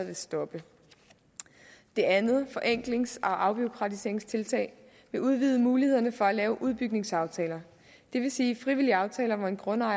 vil stoppe det andet forenklings og afbureaukratiseringstiltag vil udvide mulighederne for at lave udbygningsaftaler det vil sige frivillig aftale med en grundejer